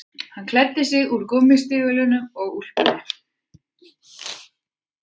Hann klæddi sig úr gúmmístígvélunum og úlpunni